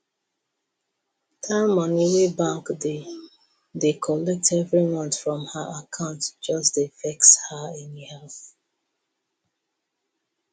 that money wey bank dey dey collect every month from her account just dey vex her anyhow